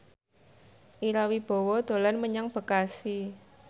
Ira Wibowo dolan menyang Bekasi